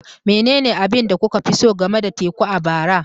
Menene abin da kuka fi so game da teku a bara?